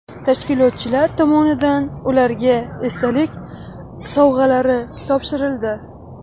Tashkilotchilar tomonidan ularga esdalik sovg‘alari topshirildi.